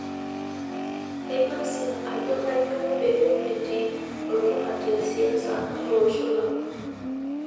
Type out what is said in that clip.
Kaingasia ajo kainyoo pee etii olmaate siasa eloosho lang.